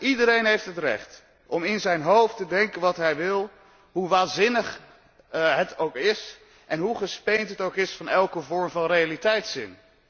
Iedereen heeft het recht om in zijn hoofd te denken wat hij wil, hoe waanzinnig het ook is en hoe gespeend het ook is van elke vorm van realiteitszin.